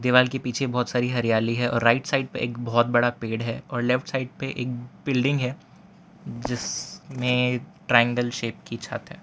Wall के पीछे बहोत सारी हरियाली है और राइट साइड पे एक बहोत बड़ा पेड़ है और लेफ्ट साइड पे एक बिल्डिंग है जिसमे ट्रायंगल शेप की छत है।